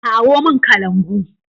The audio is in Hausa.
Kawo mun kalangu!